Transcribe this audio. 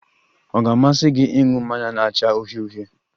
Ọ ga-amasị gị ị ñụ mmanya na-acha uhie uhie?